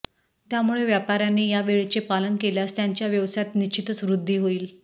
त्यामुळे व्यापाऱ्यांनी या वेळेचे पालन केल्यास त्यांच्या व्यवसायात निश्चितच वृद्धी होईल